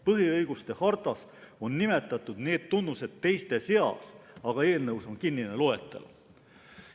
Põhiõiguste hartas on nimetatud need tunnused teiste seas, aga eelnõus on kinnine loetelu.